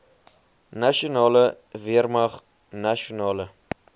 nasionale weermag nasionale